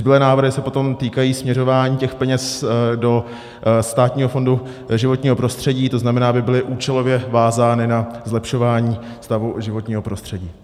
Zbylé návrhy se potom týkají směřování těch peněz do Státního fondu životního prostředí, to znamená, aby byly účelově vázány na zlepšování stavu životního prostředí.